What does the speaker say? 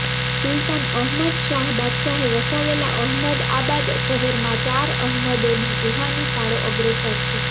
સુલતાન અહમદશાહ બાદશાહે વસાવેલા અહમદઆબાદ શહેરમાં ચાર અહેમદોની રૂહાની ફાળો અગ્રેસર છે